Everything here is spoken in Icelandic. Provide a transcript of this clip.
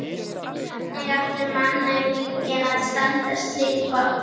Hvernig átti mannauminginn að standast slík vopn?